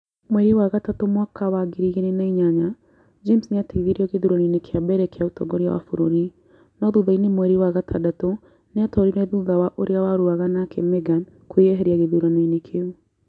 Mweri wa gatatũ mwaka wa ngiri ĩgĩrĩ na inyanya, James nĩ aateithirio gĩthuranoinĩ kĩa mbere kĩa ũtongoria wa bũrũri, no thutha-inĩ mweri wa gatandatũ, nĩ aatoorire thutha wa ũrĩa warũaga nake Megan kwĩyeheria gĩthuranoinĩ kĩu.